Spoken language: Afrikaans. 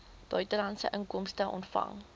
buitelandse inkomste ontvang